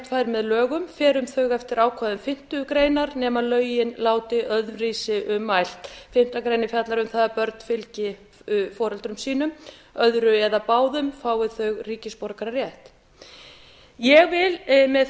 fær með lögum fer um þau eftir ákvæðum fimmtu greinar nema lögin láti öðruvísi um mælt fimmtu grein fjallar um það að börn fylgi foreldrum sínum öðru eða báðum fái þau ríkisborgararétt ég vil með